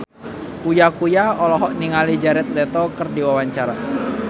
Uya Kuya olohok ningali Jared Leto keur diwawancara